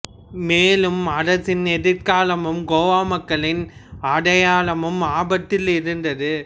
மேலும் அரசின் எதிர்காலமும் கோவா மக்களின் அடையாளமும் ஆபத்தில் இருந்தது